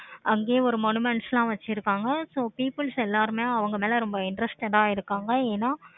அங்கேயே ஒரு லாம் வச்சிருக்காங்க. so peoples எல்லாருமே அவங்க மேல ரொம்ப interested ஆஹ் இருக்காங்க ஏனா